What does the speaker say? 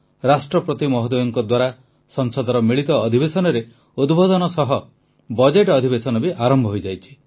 ରାଷ୍ଟ୍ରପତି ମହୋଦୟଙ୍କ ଦ୍ୱାରା ସଂସଦର ମିଳିତ ଅଧିବେଶନରେ ଉଦ୍ବୋଧନ ସହ ବଜେଟ ଅଧିବେଶନ ବି ଆରମ୍ଭ ହୋଇଯାଇଛି